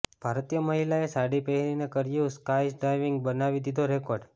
ભારતીય મહિલાએ સાડી પહેરીને કર્યું સ્કાયડાઇવિંગ બનાવી દીધો રેકોર્ડ